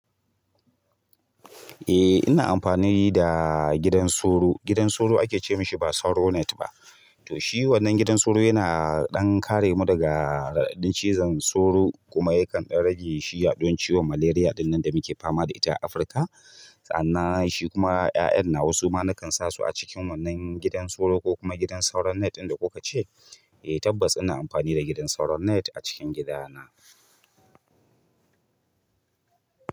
Eh ina amfani da gidan sauro, gidan sauro ake ce mashi ba Sauronet ba. To shi wannan gidan sauro yana ɗan kare mu daga raɗaɗin cizon sauro kuma yakan ɗan rage shiya don ciwon malaria. Ɗinnan da muke fama da ita a Afirka. Sannan shi kuma 'ya'yan na wasu ma na kan sa su a cikin wannan gidan sauro ko kuma gidan Sauronet inda kuka ce. Eh tabbas ina amfani da gidan Sauronet a cikin gidana.